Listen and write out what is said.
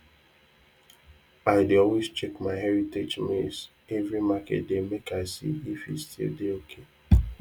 i dey always check my heritage maize every market day make i see if e still dey ok